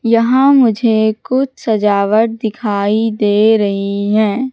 यहां मुझे कुछ सजावट दिखाई दे रही हैं।